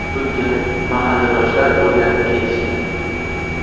Bunga mahalladoshlar o‘rganib ketishgan.